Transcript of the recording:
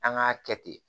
An k'a kɛ ten